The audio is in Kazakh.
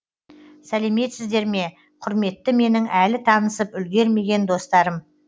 сәлеметсіздер ме құрметті менің әлі танысып үлгермеген достарым